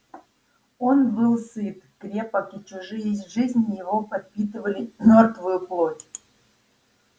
он был сыт крепок и чужие жизни его подпитывали мёртвую плоть